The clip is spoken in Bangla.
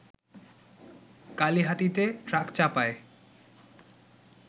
কালিহাতীতে ট্রাকচাপায়